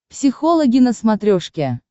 психологи на смотрешке